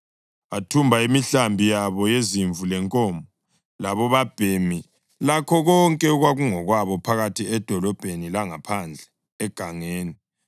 Athumba imihlambi yabo yezimvu lenkomo, labobabhemi lakho konke okwakungokwabo phakathi edolobheni langaphandle egangeni.